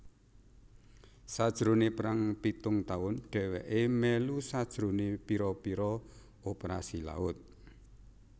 Sajrone Perang pitung tahun deweke melu sajrone pira pira operasi laut